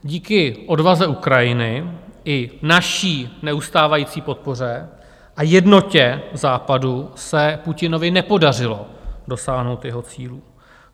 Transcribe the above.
Díky odvaze Ukrajiny i naší neustávající podpoře a jednotě Západu se Putinovi nepodařilo dosáhnout jeho cílů.